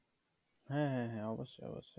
হ্যাঁ হ্যাঁ হ্যাঁ অবশ্যই অবশ্যই